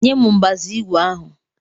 Nyem mbazu igwe ahụ!